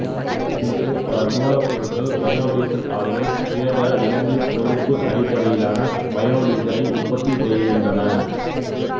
இன்று பலமூலப்பொருள் பயோடீசல் ஆலைகள் உயர்தர விலங்குக் கொழுப்பு அடிப்படையிலான பயோடீசலை உற்பத்தி செய்கின்றன